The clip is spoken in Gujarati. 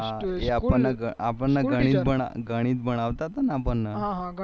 આપણ ને ગણિત ભણાવતા તા ને આપણને